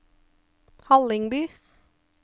Hallingby